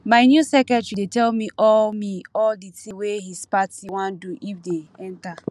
my new secretary dey tell me all me all the thing wey his party wan do if they enter